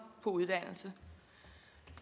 på uddannelser